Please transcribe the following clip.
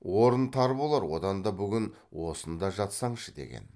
орын тар болар одан да бүгін осында жатсаңшы деген